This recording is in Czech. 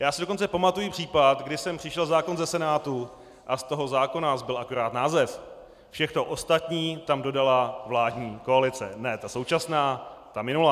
Já si dokonce pamatuji případ, kdy sem přišel zákon ze Senátu a z toho zákona zbyl akorát název, všechno ostatní tam dodala vládní koalice - ne ta současná, ta minulá.